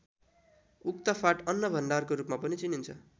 उक्त फाँट अन्न भण्डारको रूपमा पनि चिनिन्छ।